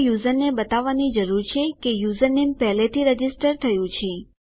તો યુઝરને બતાવવાની જરૂર છે કે યુઝરનેમ પહેલાથી રજીસ્ટર થયું છે